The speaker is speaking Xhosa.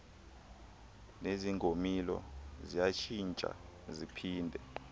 nezingolimo ziyatshintsha ziphinde